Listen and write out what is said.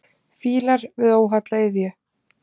Fílar við óholla iðju.